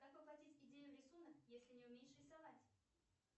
как воплотить идею в рисунок если не умеешь рисовать